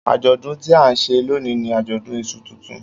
Ajọdun ti a nṣe loni ni ajọdun iṣu tuntun.